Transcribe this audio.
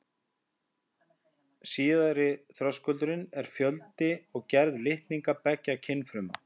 Síðari þröskuldurinn er fjöldi og gerð litninga beggja kynfruma.